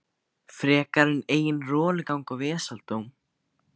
Frekar en eigin rolugang og vesaldóm.